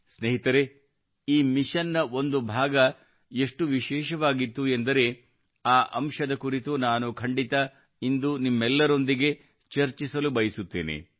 ಸ್ನೇಹಿತರೇ ಈ ಮಿಷನ್ನ ಒಂದು ಭಾಗ ಎಷ್ಟು ವಿಶೇಷವಾಗಿತ್ತು ಎಂದರೆ ಆ ಅಂಶದ ಕುರಿತು ನಾನು ಖಂಡಿತ ಇಂದು ನಿಮ್ಮೆಲ್ಲರೊಂದಿಗೆ ಚರ್ಚಿಸಲು ಬಯಸುತ್ತೇನೆ